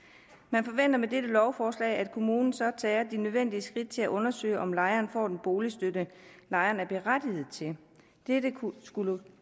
man forventer med dette lovforslag at kommunen så tager de nødvendige skridt til at undersøge om lejeren får den boligstøtte lejeren er berettiget til dette skulle